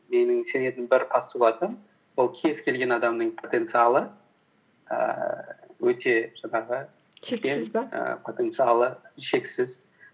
менің сенетін бір постулатым ол кез келген адамның потенциалы ііі өте жаңағы потенциалы шексіз